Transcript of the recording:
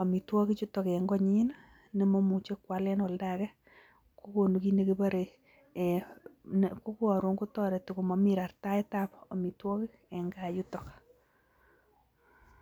omitwogik chuton en konyiin nemomuche kwaleen oldo agee kogonu kiit negiboree um eeh um kogaroon kotoreti komomii rartaet ab omitwogik en kaa yuton.